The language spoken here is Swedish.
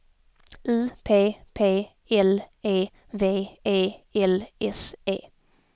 U P P L E V E L S E